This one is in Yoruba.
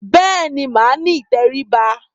Bẹ́ẹ̀ ni, màá ní ìtẹríba.